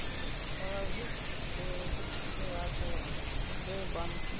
положить через оператора в сбербанке